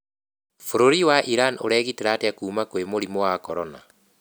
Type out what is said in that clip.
Bũrũri wa Iran ũregitĩra atĩa kuma kwĩ mũrimũ wa corona?